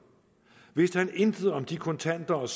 vidste han intet om de kontanter og